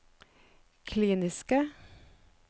kliniske